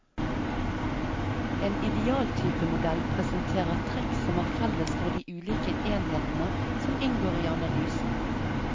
En idealtypemodell presenterer trekk som er felles for de ulike enhetene som inngår i analysen.